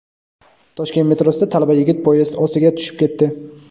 Toshkent metrosida talaba yigit poyezd ostiga tushib ketdi.